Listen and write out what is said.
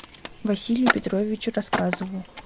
василию петровичу рассказову